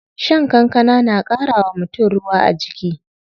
Shan kankana na ƙara wa mutum ruwa a jiki.